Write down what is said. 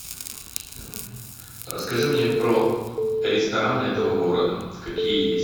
расскажи мне про рестораны этого города какие есть